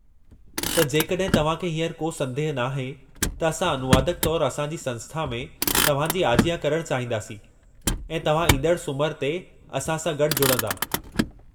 त जेकॾहिं तव्हां खे हींअर को संदेह नाहे त असां अनुवादक तौरु असां जी संस्था में तव्हां जी आजियां करणु चाहींदासीं ऐं तव्हां ईंदड़ु सूमर ते असां सां गॾु जुड़ंदा।